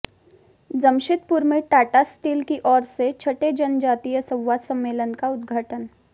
जमशेदपुर में टाटा स्टील की ओर से छठे जनजातीय संवाद सम्मेलन का उद्घाटन